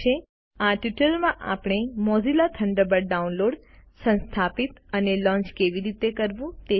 આ ટ્યુટોરીયલ માં આપણે મોઝિલા થન્ડરબર્ડ ડાઉનલોડ સંસ્થાપિત અને લોન્ચ કેવી રીતે કરવું તે શીખ્યા